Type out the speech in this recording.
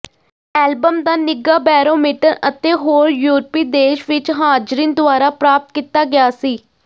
album ਦਾ ਿਨੱਘਾ barometer ਅਤੇ ਹੋਰ ਯੂਰਪੀ ਦੇਸ਼ ਵਿਚ ਹਾਜ਼ਰੀਨ ਦੁਆਰਾ ਪ੍ਰਾਪਤ ਕੀਤਾ ਗਿਆ ਸੀ